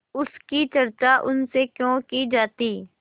उसकी चर्चा उनसे क्यों की जाती